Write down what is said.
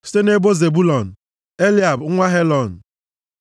site nʼebo Zebụlọn, Eliab nwa Helọn,